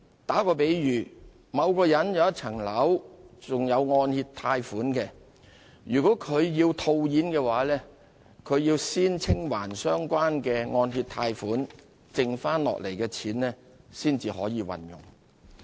打個比喻，若某人擁有一項樓宇物業並有按揭貸款尚未清還，他要售樓套現便需先清還相關欠款，剩下的錢才可運用。